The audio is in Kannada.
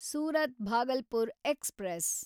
ಸೂರತ್ ಭಾಗಲ್ಪುರ್ ಎಕ್ಸ್‌ಪ್ರೆಸ್